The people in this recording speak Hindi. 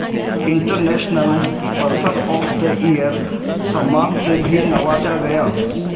international person of the year सम्मान से भी नवाजा गया